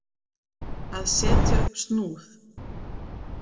Að setja upp snúð